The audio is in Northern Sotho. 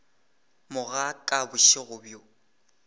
mo ga ka bošego bjo